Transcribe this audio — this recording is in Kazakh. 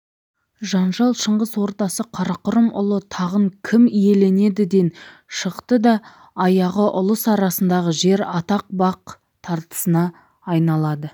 жанжал шыңғыс ордасы қарақұрым ұлы тағын кім иеленедіден шығды да аяғы ұлыс арасындағы жер атақ бақ тартысына айналады